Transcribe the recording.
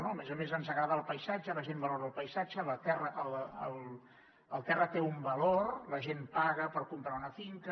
a més a més ens agrada el paisatge la gent valora el paisatge el sòl té un valor la gent paga per comprar una finca